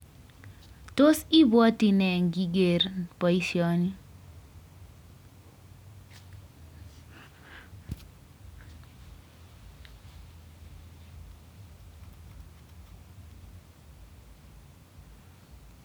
Tos ibwoti nee ngiker boishoni